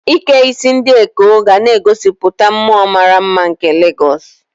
Ike isi ndi Ekó ga na-egosipụta mmụọ mara mma nke Legosu.